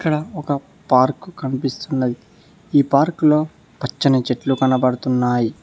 ఇక్కడ ఒక పార్క్ కనిపిస్తున్నది ఈ పార్కులో పచ్చని చెట్లు కనపడుతున్నాయి.